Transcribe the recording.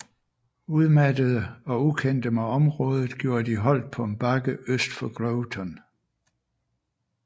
Udmattede og ukendte med området gjorde de holdt på en bakke øst for Groveton